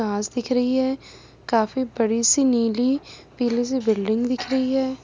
घास दिख रही है काफी बड़ी सी नीली पीली सी बिल्डिंग दिख रही है।